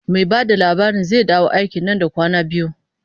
Mai ba da labarin zai dawo aiki nan da kwanaki biyu.